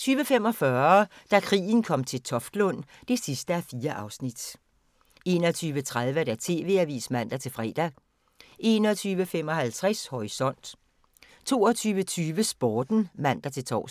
20:45: Da krigen kom til Toftlund (4:4) 21:30: TV-avisen (man-fre) 21:55: Horisont 22:20: Sporten (man-tor)